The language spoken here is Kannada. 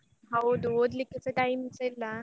ಹೌದು ಓದ್ಲಿಕ್ಕೆಸ time ಸ ಇಲ್ಲ.